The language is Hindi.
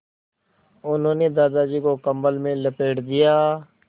उन्होंने दादाजी को कम्बल में लपेट दिया